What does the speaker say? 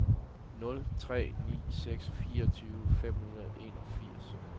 nul tre ni seks fireogtyve fem hundrede og enogfirs